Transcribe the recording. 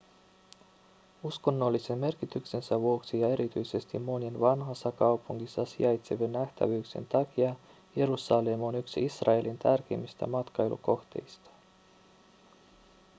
uskonnollisen merkityksensä vuoksi ja erityisesti monien vanhassa kaupungissa sijaitsevien nähtävyyksien takia jerusalem on yksi israelin tärkeimmistä matkailukohteista